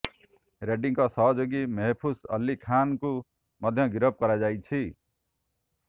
ରେଡ୍ଡିଙ୍କ ସହଯୋଗୀ ମେହଫୁଜ୍ ଅଲ୍ଲୀ ଖାନ୍ଙ୍କୁ ମଧ୍ୟ ଗିରଫ କରାଯାଇଛି